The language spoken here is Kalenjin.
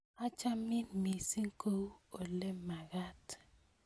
Achamin missing' kou olemagat.